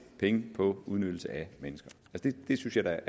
penge på udnyttelse af mennesker det synes jeg da